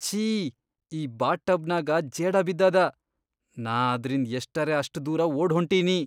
ಛೀ, ಈ ಬಾತ್ಟಬ್ನ್ಯಾಗ ಜೇಡ ಬಿದ್ದದ ನಾ ಅದ್ರಿಂದ್ ಎಷ್ಟರೆ ಅಷ್ಟ್ ದೂರ ಓಡ್ಹೊಂಟಿನಿ.